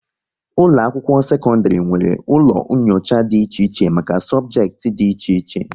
Ụlọ akwụkwọ sekọndrị nwere ụlọ nyocha dị iche iche maka sobjekiti dị iche iche